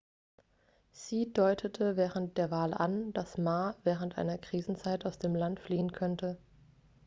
hsieh deutete während der wahl an dass ma während einer krisenzeit aus dem land fliehen könnte